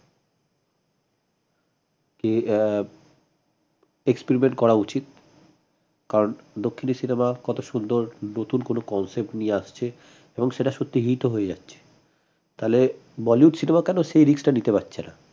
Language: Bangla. কে আহ experiment করা উচিত কারন দক্ষিণের cinema কত সুন্দর নতুন কোন concept নিয়ে আসছে এবং সেটা সত্যি hit ও হয়ে যাচ্ছে তালে bollywood cinema কেন সেই risk টা নিতে পারছে না?